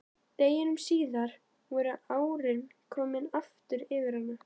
Deginum síðar voru árin komin yfir hana aftur.